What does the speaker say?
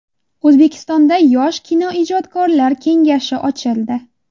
O‘zbekistonda yosh kinoijodkorlar kengashi ochildi.